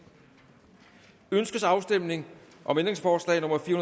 ønskes afstemning om ændringsforslag nummer fire